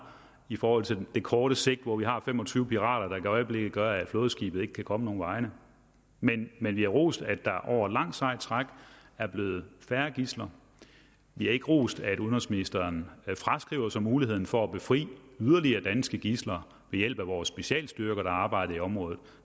i forhold til det korte sigt hvor vi har fem og tyve pirater der i øjeblikket gør at flådeskibet ikke kan komme nogen vegne men men vi har rost at der over et langt sejt træk er blevet færre gidsler vi har ikke rost at udenrigsministeren fraskriver sig muligheden for at befri yderligere danske gidsler ved hjælp af vore specialstyrker der arbejder i området